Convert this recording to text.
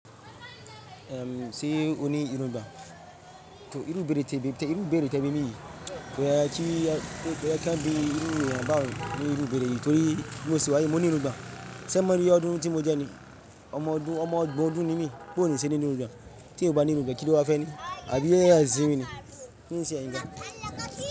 Ehn, sé o ní irugbon, tor irú ibeẹ̀rẹ̀ tẹ́ bimi, ko ye kí ẹ kí a bí irú eeyan báhun ní irú ibeẹ̀rẹ̀ yìí? Torí bi mo ṣe wáyi, mo ní irugbon. Ṣé mọ iye ọdún tí mo jẹ ní? Ọmọ ọdún, ọmọ ogbon ọdún ní mi, bò ní ṣe ní irugbon tí eeyan o bá ní irugbon kí ló wá fẹ́ ní? Àbí AI n siwìn ni. Kíni ṣe ẹ̀yin gán?